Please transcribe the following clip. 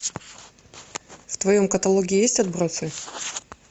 в твоем каталоге есть отбросы